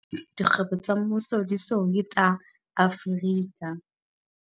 E se e le dilengwana jwale dikgwebo tsa mmuso di-SOE, tsa Afrika.